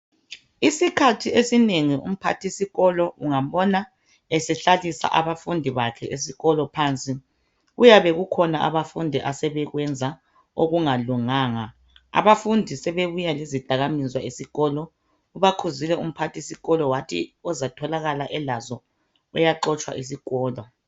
Isikhathi esinengi umphathisikolo ungambona esehlalisa abafundi bakhe esikolo phansi kuyabe kukhona abafundi asebekwenza okungalunganga. Abafundi sebebuya lezidakamizwa esikolo. Ubakhuzile umphathisikolo wathi ozatholakala elazo uyaxotshwa isikolo.